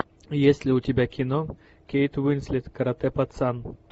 есть ли у тебя кино кейт уинслет каратэ пацан